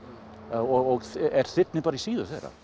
og er þyrnir í síðu þeirra